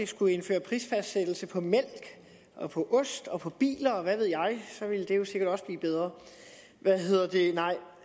skulle indføre prisfastsættelse på mælk og på ost og på biler og hvad ved jeg så ville det jo sikkert også blive bedre nej